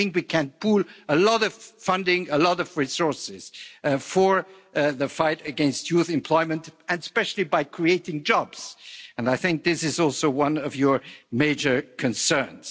And I think we can pool a lot of funding, a lot of resources for the fight against youth employment and especially by creating jobs, and I think this is also one of your major concerns.